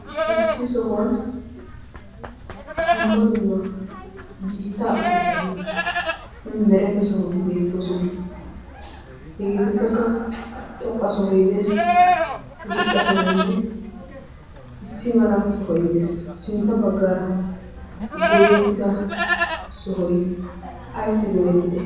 Issi sohuwan dumma dumma biitta utettaynne mereta sohoti beettoosona. Hegeetuppekka xoqqa sohoy de'ees. Ziqqa sohoynne issi mala sohoy de'ees. Sintta baggaara goyettida sohoy ayssi goyettide?